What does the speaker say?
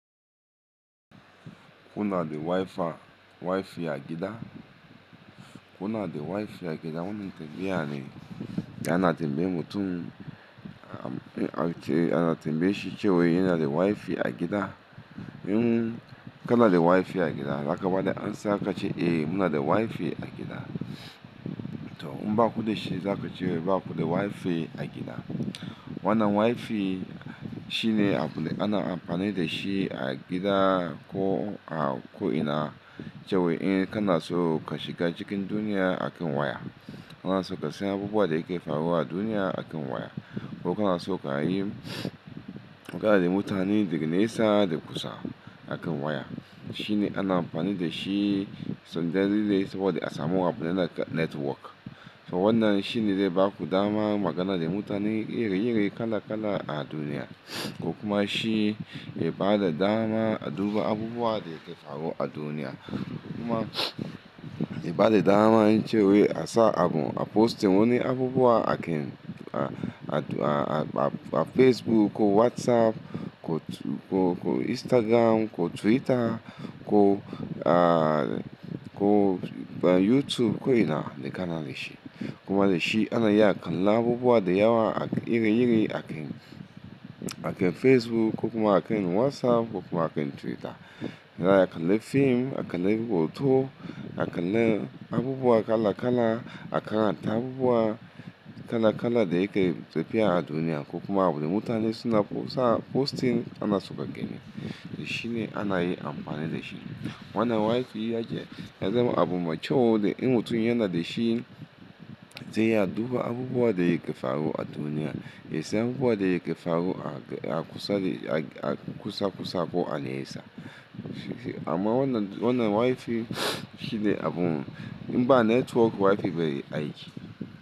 Kuna da WiFi, WiFi a gida? Kuna da WiFi a gida? Wani tambaya ne da ana tambaye mutum, ana tambayeshi cewa yana da WiFi a gida. In kana da WiFi a gida, za ka ba da amsa ka ce, "Eh, muna da WiFi a gida." To in ba ku da shi, za ku ce ba ku da WiFi a gida. Wannan WiFi shine abun da ana amfani da shi a gida ko, ko'ina, cewa in kana so ka shiga cikin duniya akan waya, kana so ka san abubuwan da yake faruwa a duniya akan waya, ko kana so ka yi, ka haɗa da mutane daga nesa da kusa akan waya. Shine ana amfani da shi, sanja dai dai saboda a samu raba da network. To wannan shine zai ba ku dama magana da mutane iri iri kala kala a duniya, ko kuma shi yaba da dama, duba abubuwan da ke faruwa a duniya, kuma yaba da dama cewa ya sa abun, a posting wani abubuwa a kan, a, a, a Facebook ko WhatsApp ko, ko, ko Instagram ko Twitter ko, ko YouTube ko'ina da kana da shi. Kuma da shi ana iya kallon abubuwa da yawa iri iri a kan, a kan Facebook ko kuma a kan WhatsApp ko kuma a kan Twitter. Ana iya kallon fim, a kallon abubuwan to, a kallon abubuwa kala kala, a karanta abubuwa kala kala da yake tafiya a duniya ko kuma abin da mutane suna po-- sa posting ana so ka gani. Da shine ana yi amfani da shi. Wannan WiFi ya ce, ya zama abu mai kyau in mutum yana da shi zai iya duba abubuwan da yake faruwa a duniya, ya san abubuwan da yake faruwa a kusa da, a kusa kusar ko a nesa. Amma wannan, wannan WiFi shine abun, in ba network WiFi bai yi aiki.